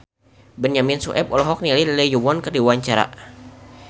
Benyamin Sueb olohok ningali Lee Yo Won keur diwawancara